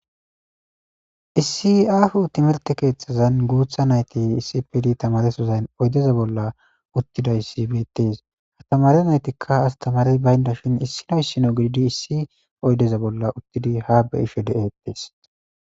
Issi aaho timirte keethazan guutha nayti issipe gididi tamaresozan oydeza bolla utidaysi beetes; tamare naytika astamarey baynashin issino issino gididi issi oydeza bolla uttidi ha beyishe de'etes.